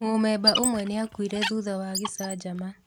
Mũmemba ũmwe nĩakuire thutha wa gĩcanjama